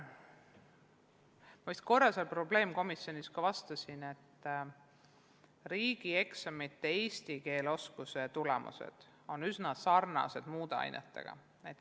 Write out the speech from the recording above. Ma vist korra seal probleemkomisjonis juba vastasin, et eesti keele riigieksamite tulemused on üsna sarnased muude ainetega.